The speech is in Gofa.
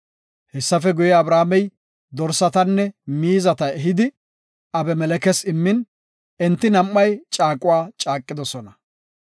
Hessafe guye, Abrahaamey dorsatanne miizata ehidi, Abimelekes immin, enti nam7ay caaqidosona.